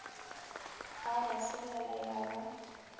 a ba solela ya ba